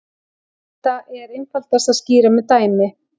Þetta er einfaldast að skýra með dæmi.